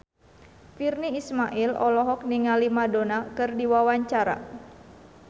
Virnie Ismail olohok ningali Madonna keur diwawancara